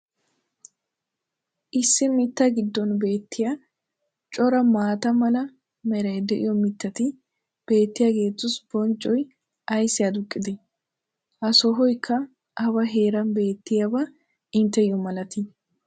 issi mitaa giddon beetiya cora maata mala meray diyo mitatti beetiyaageetussi bonccoy ayssi aduqqidee? ha sohoykka awa heeran beettiyaaba inteyo malatii?